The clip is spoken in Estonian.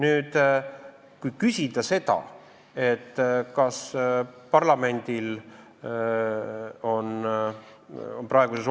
See on tekitanud segadust, et kuidas on võimalik, et juristidel on erinevad arvamused.